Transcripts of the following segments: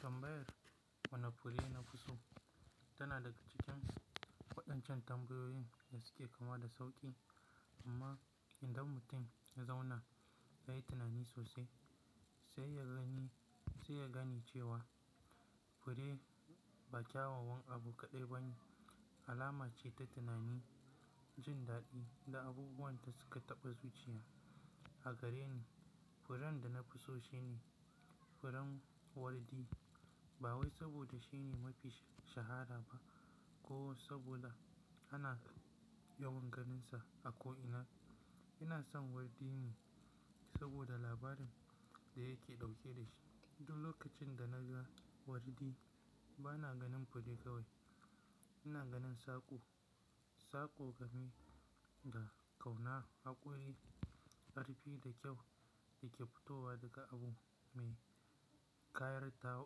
Tambayar wane fure na fuso tana daga cikin waɗancan tambayoyin da suke kama da sauƙi, amma idan mutum ya zauna ya yi tunani sosai, sai ya gani, sai ya gane cewa fure ba kyawawan abu kaɗai ba ne, alama ce ta tunani, jin daɗi da abubuwan da suke taɓa zuciya. A gareni furen da na fi so shine furen wardi. Ba wai saboda shine mafi shahara ba ko saboda ana yawan ganinsa a ko'ina. Ina son wardi ne saboda labarin da yake ɗauke da shi. Duk lokacin da na ga wardi bana ganin fure kawai. Ina ganin saƙo, saƙo game da ƙauna, haƙuri, ƙarfi da kyau da ke fitowa daga abu mai ƙayarta,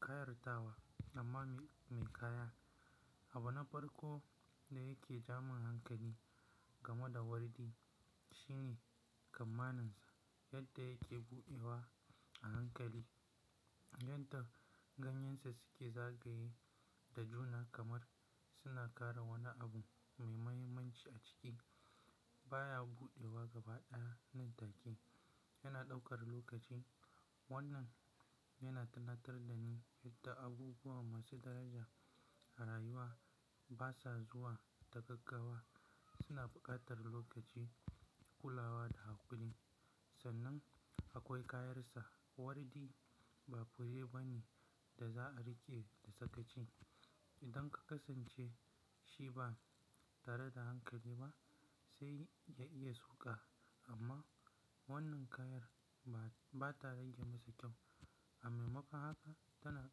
kayatarwa amma mai ƙaya. Abu na farko da yake jamin hankali game da wardi shine kamanninsa, yadda yake buɗewa a hankali, yadda ganyensa suke zagaye da juna kamar suna kare wani abu mai muhimmanci a ciki. Ba ya buɗewa gaba ɗaya nan take. Yana ɗaukar lokaci. Wannan yana tunatar da ni yadda abubuwa masu daraja a rayuwa basa zuwa ta gaggawa. Suna buƙatar lokaci, kulawa da haƙuri. Sannan akwai kayarsa. Wardi ba fure bane da za a riƙe da sakaci. Idan ka kusance shi ba tare da hankali ba sai ya iya suka. Amma wannan ƙayar ba, ba ta rage masa kyau. A maimakon haka tana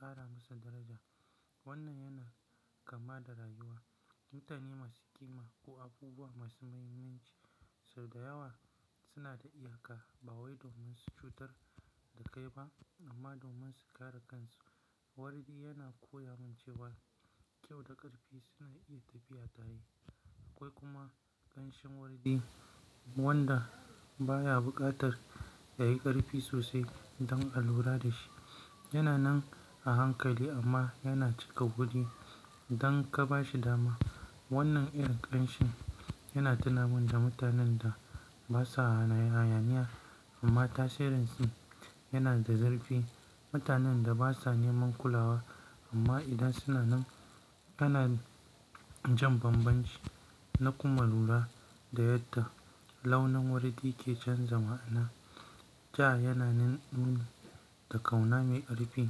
ƙara masa daraja. Wannan yana kama da rayuwa. Mutane masu ƙima ko abubuwa masu mahimmanci sau da yawa suna da iyaka. Ba wai domin su cutar da kai ba amma domin su kare kansu. Wardi yana koya min cewa kyau da ƙarfi suna iya tafiya tare. Akwai kuma ƙanshin wardi wanda baya buƙatar yayi ƙarfi sosai don a lura da shi. Yana nan a hankali amma yana cika guri idan ka ba shi dama. Wannan irin ƙanshin yana tunamin da mutanen da basa hayaniya amma tasirin su yana da zurfi. Mutanen da basa neman kulawa amma idan suna nan kana jin bambanci na kuma lura da yadda launin wardi ke canzawa. Ana ja yana nuni da ƙauna mai ƙarfi.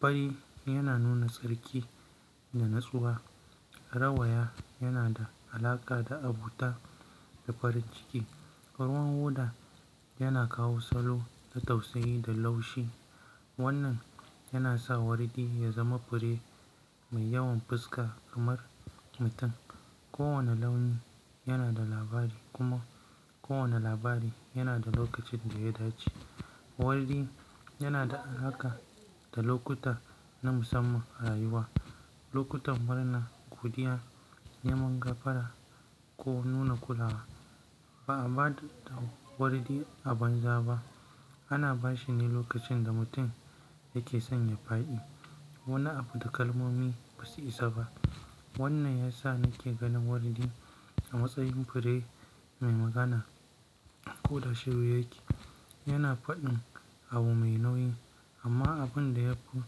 Fari yana nuna tsarki da natsuwa. Rawaya yana da alaƙa da abuta da farin ciki. Kaman hoda yana kawo salo na tausayi da laushi. Wannan yana sa wardi ya zama fure mai yawan fuska kamar mutum. Kowane launi yana da labari kuma kowane labari yana da lokacin da ya dace. Wardi yana da alaƙa da lokuta na musamman a rayuwa. Lokutan marana, godiya, neman gafara ko nuna kulawa. Ba a ba da wardi a banza ba. Ana ba shi ne lokacin da mutum yake sanya fa'i. Wani abu da kalmomi basu isa ba. Wannan ya sa nake ganin wardi a matsayin fure mai magana ko da shiru yake. Yana faɗin abu mai nauyi. Amma abin da ya fi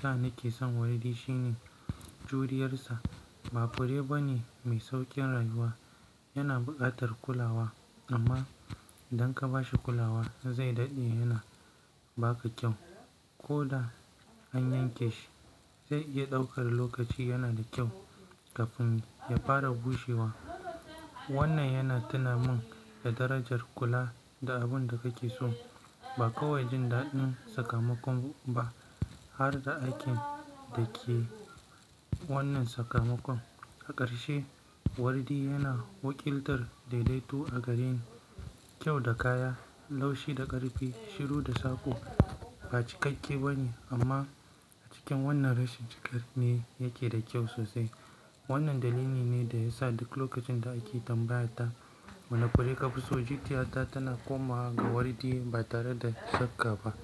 sa nake son wardi shine juriyarsa. Ba fure bane mai sauƙin rayuwa. Yana buƙatar kulawa amma idan ka ba shi kulawa zai daɗe yana ba ka kyau. Ko da an yanke shi sai ya iya ɗaukar lokaci yana da kyau kafin ya fara bushewa. Wannan yana tunamin da darajar kula da abun da kake so. Ba kawai jin daɗin sakamakon ba har da aikin da ke wannan sakamakon. A ƙarshe wardi yana wakiltar daidaito a gareni. Kyau da kaya, laushi da ƙarfi, shiru da saƙo. Ba cikakke bane amma a cikin wannan rashin cikar ne yake da kyau sosai. Wannan dalili ne da ya sa duk lokacin da ake tambayata wane fure ka fi so, zuciyata tana komawa ga wardi ba tare da shakka ba.